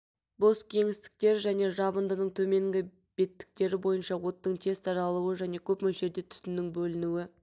бос кеңістіктер және жабындының төменгі беттіктері бойынша оттың тез таралуы және көп мөлшерде түтіннің бөлінуі